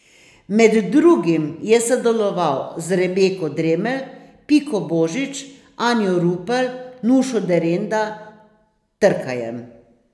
Med drugim je sodeloval z Rebeko Dremelj, Piko Božič, Anjo Rupel, Nušo Derenda, Trkajem ...